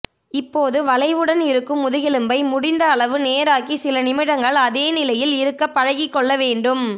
இப்போது வளைவுடன் இருக்கும் முதுகெலும்பை முடிந்த அளவு நேராக்கி சில நிமிடங்கள் அதே நிலையில் இருக்க பழகிக்கொள்ள வேண்டும்